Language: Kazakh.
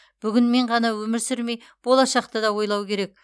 бүгінмен ғана өмір сүрмей болашақты да ойлау керек